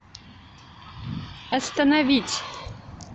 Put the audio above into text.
остановить